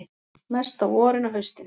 Mest á vorin og haustin.